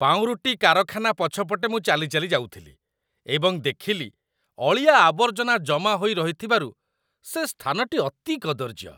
ପାଉଁରୁଟି କାରଖାନା ପଛପଟେ ମୁଁ ଚାଲି ଚାଲି ଯାଉଥିଲି ଏବଂ ଦେଖିଲି ଅଳିଆ ଆବର୍ଜନା ଜମା ହୋଇ ରହିଥିବାରୁ ସେ ସ୍ଥାନଟି ଅତି କଦର୍ଯ୍ୟ ।